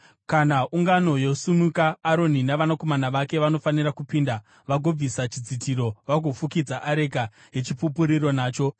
Kana ungano yosimuka Aroni navanakomana vake vanofanira kupinda vagobvisa chidzitiro vagofukidza areka yeChipupuriro nacho.